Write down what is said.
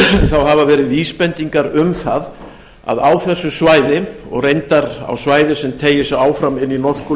hafa verið vísbendingar um það að á þessu svæði og reyndar á svæði sem teygir sig áfram inn í norsku